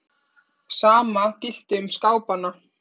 Sama gilti um skápana.